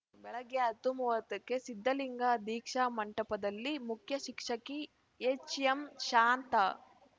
ಬೆಳಗ್ಗೆ ಹತ್ತು ಮೂವತ್ತಕ್ಕೆ ಸಿದ್ಧಲಿಂಗ ದೀಕ್ಷಾ ಮಂಟಪದಲ್ಲಿ ಮುಖ್ಯ ಶಿಕ್ಷಕಿ ಎಚ್‌ಎಂ ಶಾಂತಾ